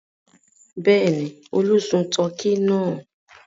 Bẹ́ẹ̀ ni, Olú sun tọkí náà.